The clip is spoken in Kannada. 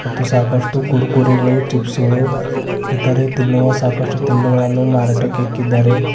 ಮತ್ತು ಸಾಕಷ್ಟು ಕುರುಕುರೆ ಗಳು ಚಿಪ್ಸ್ ಗಳು ಇತರೆ ತಿನ್ನುವ ಸಾಕಷ್ಟು ತಿನ್ನುಗಳನ್ನು ಮಾರಾಟಕ್ಕೆ ಇಕ್ಕಿದ್ದಾರೆ.